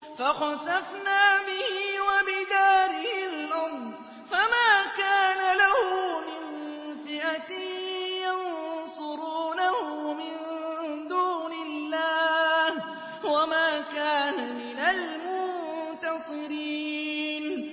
فَخَسَفْنَا بِهِ وَبِدَارِهِ الْأَرْضَ فَمَا كَانَ لَهُ مِن فِئَةٍ يَنصُرُونَهُ مِن دُونِ اللَّهِ وَمَا كَانَ مِنَ الْمُنتَصِرِينَ